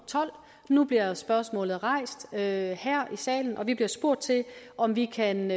tolv nu bliver spørgsmålet rejst her i salen og vi bliver spurgt om vi kan